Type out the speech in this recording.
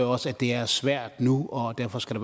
også at det er svært nu og derfor skal